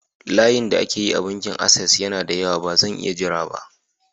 Layin da ake yi a bankin Ases yana da yawa, ba zan iya jira ba.